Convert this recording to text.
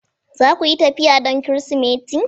Za ku yi tafiya don Kirsimeti?